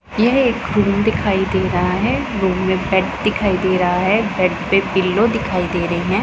यह एक रूम दिखाई दे रहा है रूम में बेड दिखाई दे रहा है बेड पे पिलो दिखाई दे रही हैं।